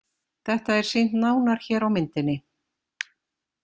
Þetta er sýnt nánar hér á myndinni.